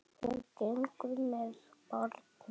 Hún gengur með barn mitt.